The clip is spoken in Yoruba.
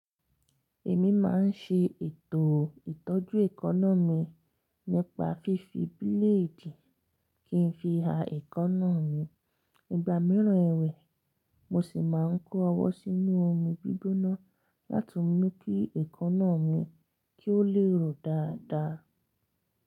Èmi máa ń ṣe ètò ìtọ́jú èékánná mi nípa fífi bíléèdì kí n fi ha èékánná mi. Ìgbà mìíràn èwẹ̀, mo sì máa ń kó ọwọ́ sínú omi gbígbóná láti mú kí èékánná mi kí ó le rọ̀ dáadáa.